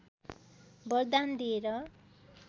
वरदान दिएर